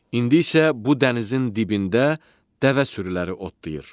İndi isə bu dənizin dibində dəvə sürüləri otlayır.